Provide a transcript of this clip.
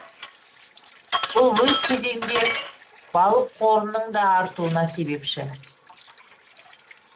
бұл өз кезегінде балық қорының да артуына себепші